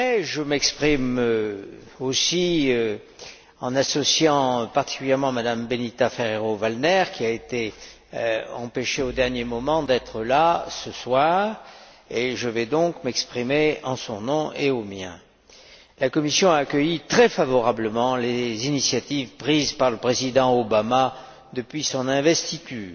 Je m'exprime aussi en associant particulièrement Mme Benita Ferrero Waldner, qui a été empêchée au dernier moment d'être là, ce soir. Je vais donc m'exprimer en son nom et au mien. La Commission a accueilli très favorablement les initiatives prises par le président Obama depuis son investiture.